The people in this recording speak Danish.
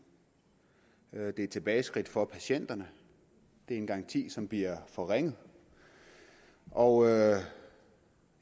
det er et tilbageskridt for patienterne det er en garanti som bliver forringet og jeg